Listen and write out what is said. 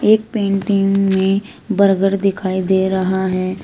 एक पेंटिंग में बर्गर दिखाई दे रहा है।